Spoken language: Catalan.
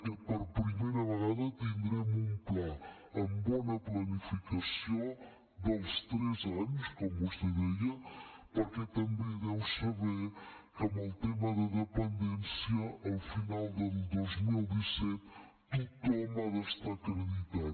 aquest per primera vegada tindrem un pla amb bona planificació dels tres anys com vostè deia perquè també sabrà que amb el tema de dependència al final del dos mil disset tothom ha d’estar acreditat